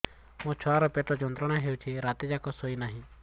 ମୋ ଛୁଆର ପେଟ ଯନ୍ତ୍ରଣା ହେଉଛି ରାତି ଯାକ ଶୋଇନାହିଁ